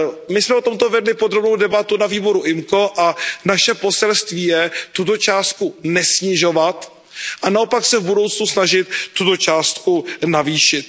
My jsme o tomto vedli podrobnou debatu na výboru IMCO a naše poselství je tuto částku nesnižovat a naopak se v budoucnu snažit tuto částku navýšit.